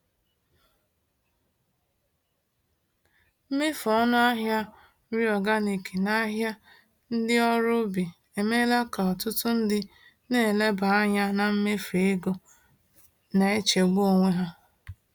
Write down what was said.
Mmefu ọnụ ahịa nri organic n’ahịa ndị ọrụ ubi emeela ka ọtụtụ ndị na-eleba anya na mmefu ego na-echegbu onwe ha.